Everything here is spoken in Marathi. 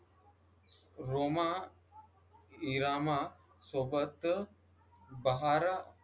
रोमा इरामासोबत बहारा